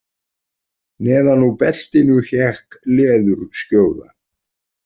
Neðan úr beltinu hékk leðurskjóða.